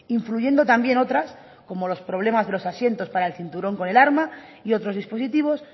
influyendo también otras como los problemas de los asientos para el cinturón con el arma y otros dispositivos